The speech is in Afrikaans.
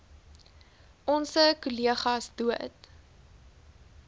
onse kollegas dood